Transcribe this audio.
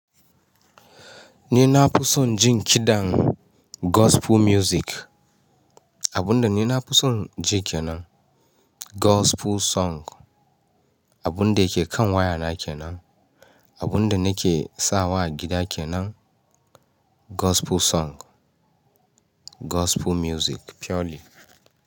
Ni na fi son jin kiɗan gospel music. Abunda ni na fi son ji kenan gospel song. Abunda yake kan wayana kenan, abunda nake sawa a gida kenan gospel song. Gospel music purely.